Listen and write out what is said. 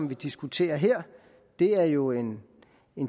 vi diskuterer her er jo en